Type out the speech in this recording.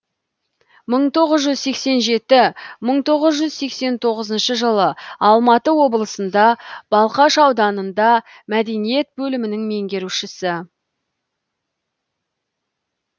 мың тоғыз жүз сексен жеті мың тоғыз жүз сексен тоғызыншы жылы алматы облысында балқаш ауданында мәдениет бөлімінің меңгерушісі